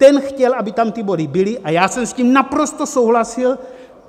Ten chtěl, aby tam ty body byly, a já jsem s tím naprosto souhlasil!